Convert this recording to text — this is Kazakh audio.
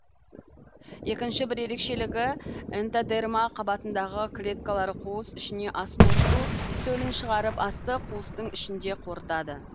екінші бір ерекшелігі энтодерма қабатындағы клеткалары қуыс ішіне ас қорыту сөлін шығарып асты қуыстың ішінде қорытады